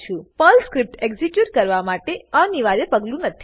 Perl script execute કરવા માટે તે અનિવાર્ય પગલું નથી